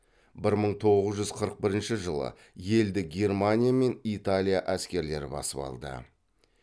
бір мың тоғыз жүз қырық бірінші жылы елді германия мен италия әскерлері басып алды